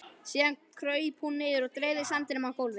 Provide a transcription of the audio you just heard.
Síðan kraup hún niður og dreifði sandinum á gólfið.